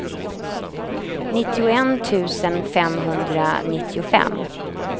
nittioett tusen femhundranittiofem